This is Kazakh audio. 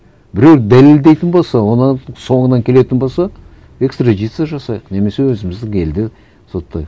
біреу дәлелдейтін болса оның соңынан келетін болса экстрадиция жасайық немесе өзіміздің елде соттайық